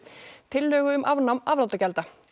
tillögu um afnám afnotagjalda